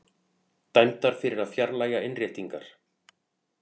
Dæmdar fyrir að fjarlægja innréttingar